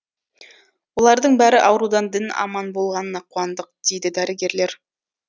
олардың бәрі аурудан дін аман болғанына қуандық дейді дәрігерлер